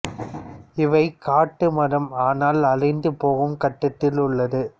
இவை காட்டு மரம் அனால் அழிந்து போகும் கட்டதில் உள்ளது